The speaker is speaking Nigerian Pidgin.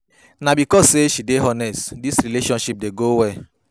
Na because sey she dey honest dis relationship dey go well.